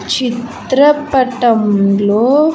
చిత్రపటం లో.